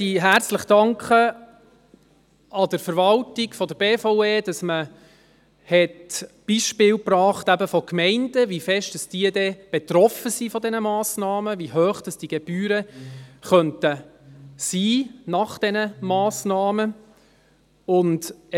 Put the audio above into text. An dieser Stelle danke ich der Verwaltung der BVE herzlich, dass man Beispiele von Gemeinden brachte, die zeigten, wie stark diese von solchen Massnahmen betroffen wären, wie hoch diese Gebühren nach diesen Massnahmen sein könnten.